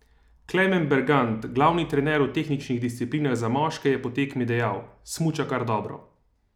Klemen Bergant, glavni trener v tehničnih disciplinah za moške, je po tekmi dejal: "Smuča kar dobro.